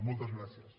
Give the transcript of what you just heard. moltes gràcies